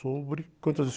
sobre quantas